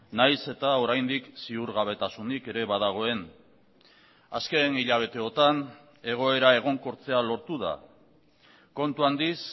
nahiz eta oraindik ziurgabetasunik ere badagoen azken hilabeteotan egoera egonkortzea lortu da kontu handiz